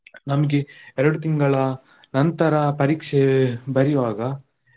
ನಮ್ಗೆ ಎರಡು ತಿಂಗಳ ನಂತರ ಪರೀಕ್ಷೆ ಬರಿವಾಗ.